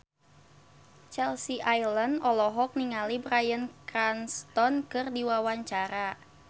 Chelsea Islan olohok ningali Bryan Cranston keur diwawancara